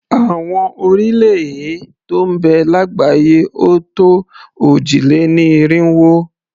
Àwọn orílẹ̀-èè tó ń bẹ lágbàáyé ò tó òjì-lé-ní-irinwó.